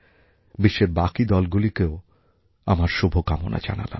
বিশ্বের বাকি দলগুলিকেও আমার শুভকামনা জানালাম